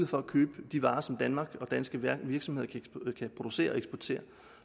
for at købe de varer som danmark og danske virksomheder kan producere og eksportere